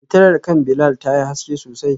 Fitilar kan Bilal tayi haske sosai.